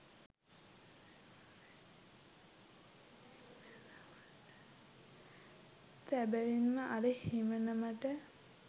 සැබැවින්ම අර හිමිනමට